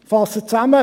Ich fasse zusammen: